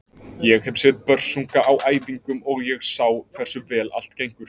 Ég hef séð Börsunga á æfingum og ég sá hversu vel allt gengur.